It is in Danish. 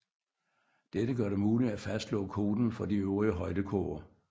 Dette gør det muligt at fastslå koten for de øvrige højdekurver